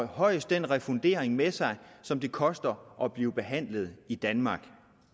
højst den refundering med sig som det koster at blive behandlet i danmark